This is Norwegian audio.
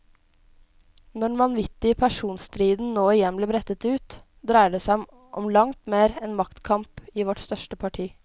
Når den vanvittige personstriden nå igjen blir brettet ut, dreier det som om langt mer enn maktkamp i vårt største parti.